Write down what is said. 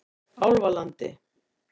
Álfalandi